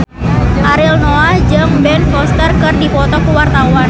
Ariel Noah jeung Ben Foster keur dipoto ku wartawan